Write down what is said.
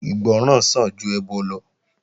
Ìgbọràn sàn ju ẹbọ lọ